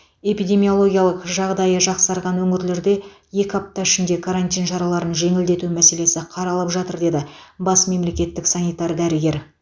эпидемиологиялық жағдайы жақсарған өңірлерде екі апта ішінде карантин шараларын жеңілдету мәселесі қаралып жатыр деді бас мемлекеттік санитар дәрігер